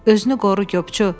Özünü qoru qopçu.